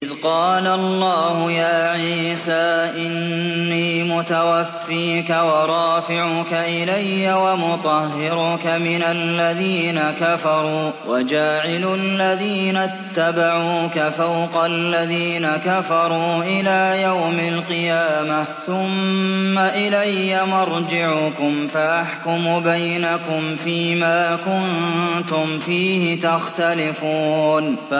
إِذْ قَالَ اللَّهُ يَا عِيسَىٰ إِنِّي مُتَوَفِّيكَ وَرَافِعُكَ إِلَيَّ وَمُطَهِّرُكَ مِنَ الَّذِينَ كَفَرُوا وَجَاعِلُ الَّذِينَ اتَّبَعُوكَ فَوْقَ الَّذِينَ كَفَرُوا إِلَىٰ يَوْمِ الْقِيَامَةِ ۖ ثُمَّ إِلَيَّ مَرْجِعُكُمْ فَأَحْكُمُ بَيْنَكُمْ فِيمَا كُنتُمْ فِيهِ تَخْتَلِفُونَ